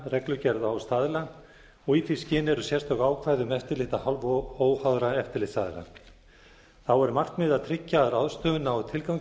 reglugerða og staðla og í því skyni eru sérstök ákvæði um eftirlit af hálfu óháðra eftirlitsaðila þá er markmiðið að tryggja að ráðstöfun nái tilgangi